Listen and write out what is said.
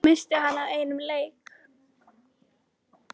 missti hann af einum leik?